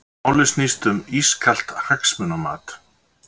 Málið snýst um ískalt hagsmunamat